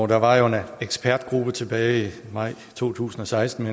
der var en ekspertgruppe tilbage i maj to tusind og seksten